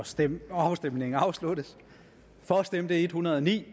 stemmes afstemningen er afsluttet for stemte en hundrede og ni